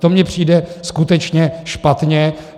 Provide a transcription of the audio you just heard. To mně přijde skutečně špatně.